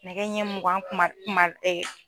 Nɛgɛ ɲɛ mugan kuma kuma ee